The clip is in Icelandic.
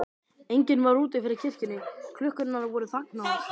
Enginn var úti fyrir kirkjunni, klukkurnar voru þagnaðar.